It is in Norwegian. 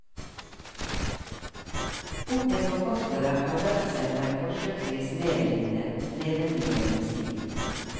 Bokens forfattere har lagt seg på en forsøksvis medrivende, levendegjørende stil.